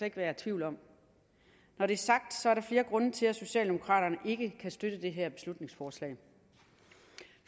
ikke være tvivl om når det er sagt er der flere grunde til at socialdemokraterne ikke kan støtte det her beslutningsforslag